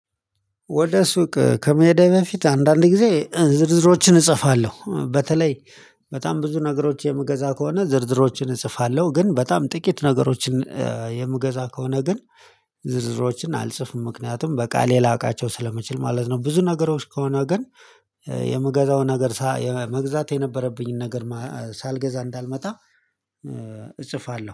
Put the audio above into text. ወደ ሱቅ ከመሄዴ በፊት አንዳንድ ጊዜ ዝርዝሮችን እጽፋለሁ በተለይ በጣም ብዙ ነገሮች የምገዛ ከሆነ ዝርዝሮችን እጽፋለሁ ግን በጣም ጥቂት ነገሮችን የምገዛ ከሆነ ግን ዝርዝሮችን አልጽፍም ምክንያቱም በቃሌ ላቃቸው ስለመችል ማለት ነው። ብዙ ነገሮች ከሆነ ግን የምገዛው ነገር ሳ መግዛት የነበረብኝን ነገር ሳልገዛ እንዳልመጣ እጽፋለሁ